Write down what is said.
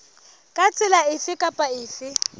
ka tsela efe kapa efe